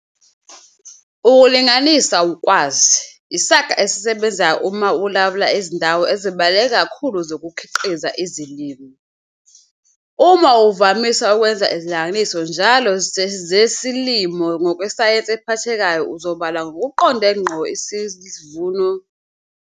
'Ukulinganisa ukwazi' yisaga esisebenzayo uma ulawula izindawo ezibaluleke kakhulu zokukhiqiza izilimo. Uma uvamisa ukwenza izilinganiso njalo zesilimo ngokwesayensi ephathekayo uzobala ngokuqonde ngqo isivuno sesilinganiso sesivuno sakho esikhathini esizayo seminyaka yokukhiqiza.